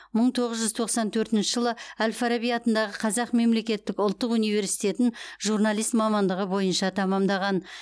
мың тоғыз жүз тоқсан төртінші жылы әл фараби атындағы қазақ мемлекеттік ұлттық университетін журналист мамандығы бойынша тәмамдаған